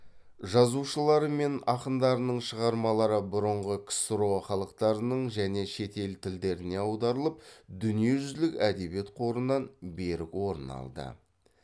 жазушылары мен ақындарының шығармалары бұрынғы ксро халықтарының және шет ел тілдеріне аударылып дүниежүзілік әдебиет қорынан берік орын алды